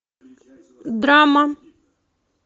драма